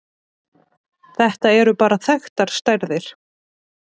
Þetta eru bara þekktar stærðir.